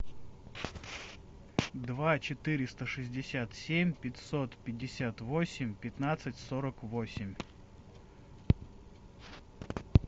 два четыреста шестьдесят семь пятьсот пятьдесят восемь пятнадцать сорок восемь